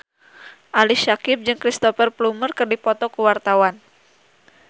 Ali Syakieb jeung Cristhoper Plumer keur dipoto ku wartawan